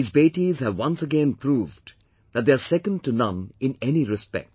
These Betis have once again proved that they are second to none in any respect